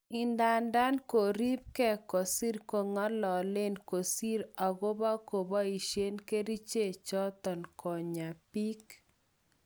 Idadan koribke kosir ko'ngalalen kosir ogopa keboishen keriche choton konya bik.